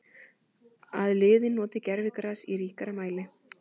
Að liðin noti gervigras í ríkari mæli?